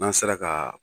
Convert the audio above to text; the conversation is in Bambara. N'an sera ka